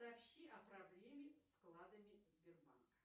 сообщи о проблеме с вкладами сбербанк